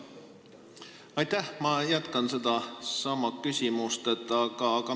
Aitäh!